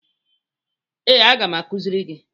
Ee, aga m akụziri gị.